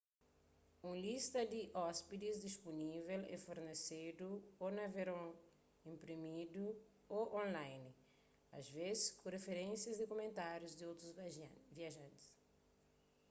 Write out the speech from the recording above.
un lista di ôspidis dispunível é fornesedu ô na verson inprimidu y/ô online asvês ku riferénsias y kumentárius di otus viajantis